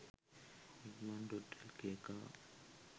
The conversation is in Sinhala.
ikman.lk car